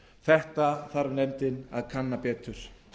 þetta þarf nefndin að kanna betur